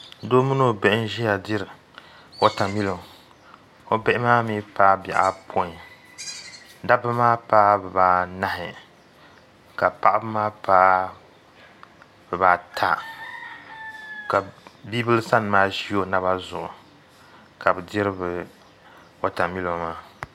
doo mini o bihi n-ʒia diri watamilo o bihi maa mii paai bihi apɔin dabba maa paai bibaanahi ka paɣaba maa paai bibaata ka bibila sani maa ʒi o naba zuɣu ka bɛ diri bɛ watamilo maa